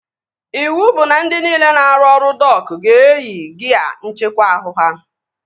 Iwu bụ na ndị niile na-arụ ọrụ dok ga-eyi gia nckekwa ahụ ha!